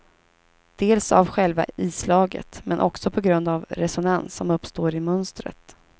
Dels av själva islaget men också på grund av resonans som uppstår i mönstret.